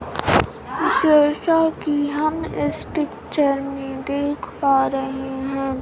जैसा कि हम इस पिक्चर में देख पा रहे है।